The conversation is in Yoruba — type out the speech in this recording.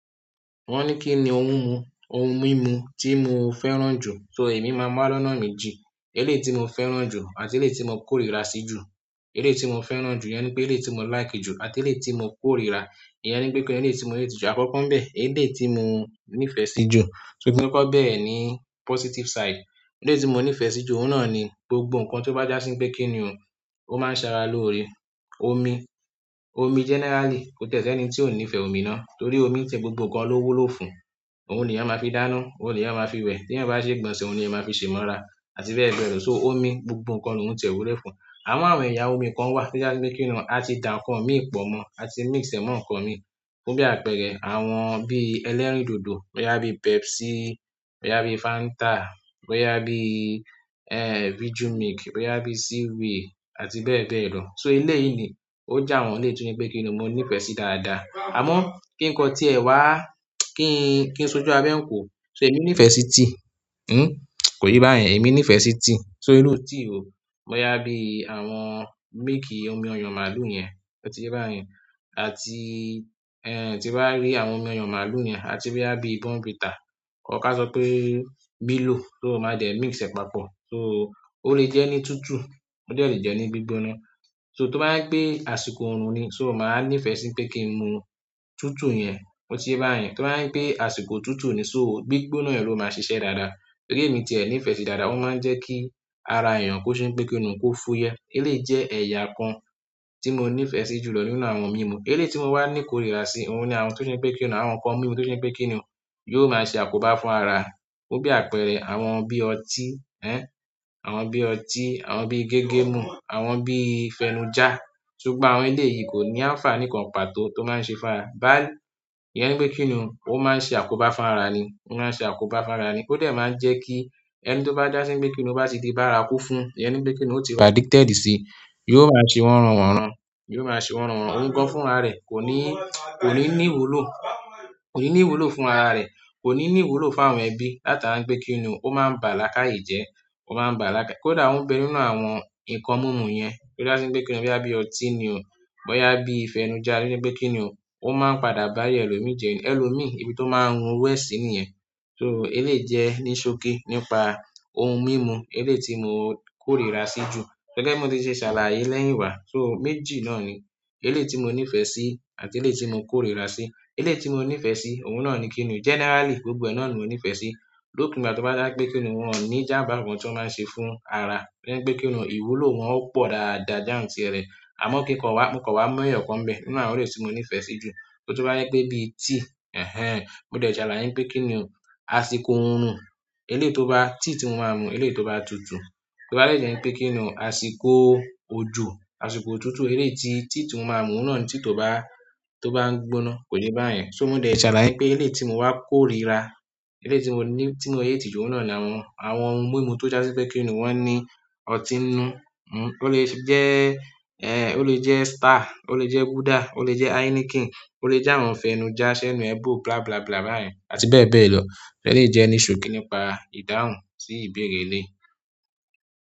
Wọ́n ní kí ni ohun mímu tí mo fẹ́ràn jù, so èmi máa mu waa lọ́nà méjì. Eléyìí tí mo fẹ́ràn jù àti eléyìí tí mo kórìíra sí jù. Eléyìí tí mo fẹ́ràn jù yẹn ni pé eléyìí tí mo like jù àti eléyìí tí mo kórìíra, ìyẹn ni pé kí ni eléyìí tí mo hate jú. Àkọ́kọ́ ń bẹ, eléyìí tí mo nífẹ̀ẹ́ sí jù. So bí mo ti kọkọ bẹ́ẹ̀re ní positive side. Eléyìí tí mo nífẹ̀ẹ́ sí jù, ohun náà ni gbogbo nǹkan tó bá já sí pé kí ni ò, ó máa ń ṣa ara lóore. Omi generally kò tẹ́ ẹni tí ò níìfẹ̀ omi ná, torí omi ń ṣi gbogbo nǹkan ló wuló fún. Òhun ni èèyàn ma fi dáná, ohun ni èèyàn ma fi we, ti èèyàn ba ṣe ìgbọ̀nsẹ̀, ohun ni èèyàn ma fi ṣe imora àti bẹ́ẹ̀ bẹ́ẹ̀ lo, so omi, gbogbo nǹkan lohun ti e wúlò fún amo àwọn ẹ̀yà omi kan wà tó já si pé kí ni o á ti dà nnkàn mí pọ̀mọ́ àti mix ẹ̀ mọ́ nǹkan mi. Fún bíi àpẹrẹ àwọn bíi ẹlẹ́rìndòdò, boya bíi pepsi, boya bíi fanta, boya bíi vijumilk, boya bíi ceeway àti bẹ́ẹ̀ bẹ́ẹ̀ lọ, so eleyii ni o jẹ àwọn eleyii to jẹ pe kini mo nífẹẹ sii dáadáa, amo ki kan ti e wa kí n sójú abẹ́ ń ko. So èmi nífẹ̀ẹ́ sí tea, kò ye yín bá yẹn, èmi nífẹ̀ẹ́ sí tea. So irú tea wó bóyá bí àwọn milk omi oyon màálù yẹn, ó ti yé bá yẹn, àti tí bá rí àwọn omi oyon màálù yẹn àti bóyá bí Bourn Vita. Or ká sọ pé miló, so o máa dẹ́ mix ẹ̀ papọ̀. So, o le je ni tutu o de le jẹ ni gbigbona so tó bá jẹ pe àsìkò orun ni, so máa nífẹ̀ẹ́ sí pé kí n mu tutù yẹn, ó ti yé bá yẹn. Tó bá gbé àsìkò tutù ni, so gbígbóná yẹn ló máa ṣiṣẹ́ dáadáa. Torí emi ti e nífẹẹ sí dáadáa, o maa n jẹ ki ara èèyàn kò ṣe wípé kini, ko fuyẹ, eléyìí jẹ ẹyà kan ti mọ nífẹẹ síi julọ nínú àwọn mimu eléyìí tí mo wá ní ìkórìíra sí, ohun ni àwọn tó ṣe pé kí ni, àwọn nǹkan mímu tó ṣe pé kí ni yóò máa ṣe àkóbá fún ara. Fún bí àpẹẹrẹ àwọn bí ọtí, àwọn bí ọtí, àwọn bí gégemú, àwọn bí fẹnujá. So, gbogbo àwọn eleyii ko ni àǹfààní kan pàtó to n maa se fún ara, ìyẹn ni pe kini o, o maa n se àkóbá fún ara ni ó dẹ̀ máa ń jẹ́ kí ẹni tó bá dá sí bíi pé kí ni ó bá ti di bá ara kú fún, ìyẹn ni pé kí ni ó ti wà addicted sí, yóò máa ṣe wọnran wọ̀nran, yóò máa ṣe wọnran wọ̀nran. Òun gan fún ara rẹ̀, kò ní ní ìwúlò fún ara rẹ̀, kò ní ní ìwúlò fún àwọn ẹbí. Látara wípé kini o, o maa n ba laakaye jẹ, kódà o n bẹ́ẹ̀ nínú àwọn nǹkan mimu yen, to ja si pe kini, bóyá bíi oti ni o, bóyá bíi fenuja, to jẹ pe kini o, o máa n padà bayé elomii jẹ ni ẹ̀lòmii ibi tó máa ń run owo ẹ́ sì nìyẹn. So eléyìí jẹ́ ní ṣókí nípa ohun mímu eléyìí tí mo kórìíra sí jù. Gẹ́gẹ́ bi mo ti ṣe ṣàlàyé lẹ́yìn wá. So méjì náà ni eléyìí tí mo nífẹ̀ẹ́ sí àti eléyìí tí mo kórìíra sí. Eléyìí tí mo nífẹ̀ẹ́ sí, ohun náà ni kí ni generally gbogbo ẹ náà ni mo nífẹ̀ẹ́ sí. Lopin igbá tó bá dá pé kí ni wọ́n ò ní ìjàǹbá kan tí wọ́n máa ṣe fún ara. Ìyẹn ni pé kí ni ìwúlò wọn ó pọ̀ dáadáa jantirere. Àmọ́ kí nǹkan wá, mo kan wá mu eyọ̀ kan n bẹ́ẹ̀ nínú àwọn eléyìí tí mo nífẹ̀ẹ́ sí jù. To ba jẹ pe bíi tea, mo de salaye pe kini o, àsìkò orun tea ti mo maa mu eleyii to ba tutu toba de jẹ́ wipé kí ni ò, àsìkò ojú, àsìkò òtútù eléyìí tí tea tí mo máa ń mu ohun náà ni tea tó bá ń gbóná, kò yẹ bá yẹn. So mo de ṣàlàyé pé eléyìí tí mo wá kórìíra, eléyìí tí mo hate jú ohun náà ni àwọn ohun mímu tó já sí pé kí ni wọ́n ní ọtí inú, ó lè jẹ́ Star, ó lè jẹ́ Gulder, ó lè jẹ́ Heineken, ó lè jẹ́ àwọn fẹnujá, senu e bo, bla bla bla bá yẹn àti bẹ́ẹ̀ bẹ́ẹ̀ lọ. Eléyìí jẹ́ ní ṣókí nípa ìdáhùn sí ìbéèrè eléyìí.